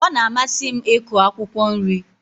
Ọ na-amasị m iku akwụkwọ nri.